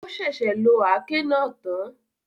O sẹsẹ lo aké náà tán